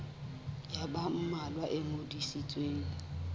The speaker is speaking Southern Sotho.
ya ba mmalwa e ngodisitsweng